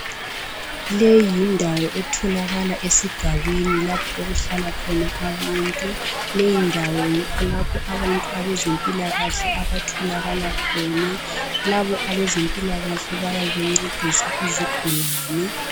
Leyi yindawo etholakala esigabeni lapho okuhlala khona abantu. Leyi ndawo yikho lapho abantu abezempilakahle abatholakala khona. Labo abezempilakahle bayabe bencedisa izigulane.